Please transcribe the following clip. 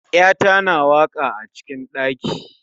yata na waka acikin ɗaki